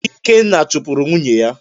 Ikenna chupuru nwunye ya